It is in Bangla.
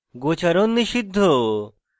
গোচারণ নিষিদ্ধ